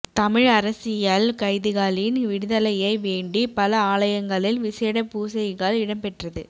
தமிழ் அரசியல் கைதிகளின் விடுதலையை வேண்டி பல ஆலயங்களில் விசேட பூசைகள் இடம்பெற்றது